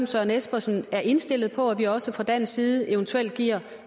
søren espersen er indstillet på at vi også fra dansk side eventuelt giver